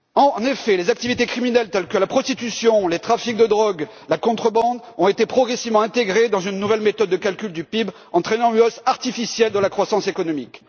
En effet, les activités criminelles telles que la prostitution ou les trafics de drogue ainsi que la contrebande ont été progressivement intégrées dans une nouvelle méthode de calcul du PIB, entraînant une hausse artificielle de la croissance économique.